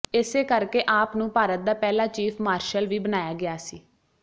ਇਸੇ ਕਰਕੇ ਆਪਨੂੰ ਭਾਰਤ ਦਾ ਪਹਿਲਾ ਚੀਫ ਮਾਰਸ਼ਲ ਵੀ ਬਣਾਇਆ ਗਿਆ ਸੀ